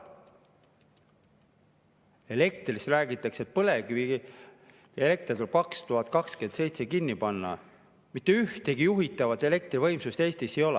Elektrist räägitakse, et põlevkivielekter tuleb 2027 kinni panna ja mitte ühtegi juhitavat elektrivõimsust Eestis ei ole.